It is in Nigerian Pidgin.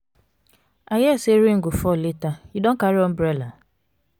i hear say rain go fall later you don carry umbrella?